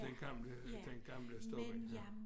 Den gamle den gamle stobba ja